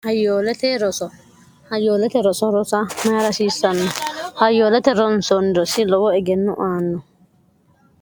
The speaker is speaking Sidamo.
hayyoolete roso rosa mayi rasiissanno hayyoolete ronsoonniro si lowo egenno aanno